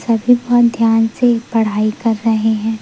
सभी बहोत ध्यान से पढ़ाई कर रहे हैं।